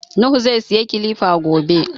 Nuhu zai siya kilifa gobe.